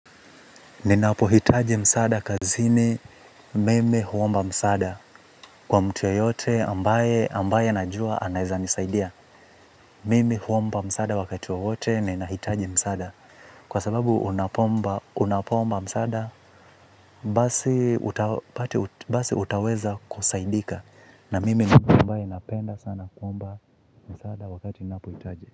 Ninapohitaji msaada kazini, mimi huomba msaada kwa mtu yeyote ambaye ambaye najua anaeza nisaidia. Mimi huomba msaada wakati wowote ninahitaji msaada kwa sababu unapoomba msaada, basi utaweza kusaidika. Na mimi ni mtu ambaye ninapenda sana kuomba msaada wakati ninapohitaji.